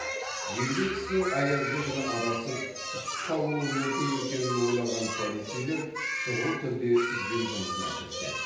егде кісінің аязды күні адасып үсіп қалуы мүмкін екенін ойлаған полицейлер шұғыл түрде іздеу жұмысына кіріседі